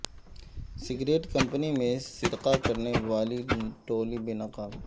cigarette company میں سرقہ کرنے والی ٹولی بے نقاب